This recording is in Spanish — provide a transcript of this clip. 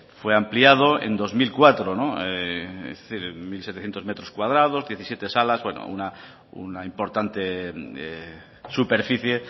fue ampliado en dos mil cuatro mil setecientos metros cuadrados diecisiete salas una importante superficie